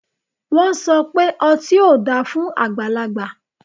Wọn sọ pe ọti o da fun agbalagba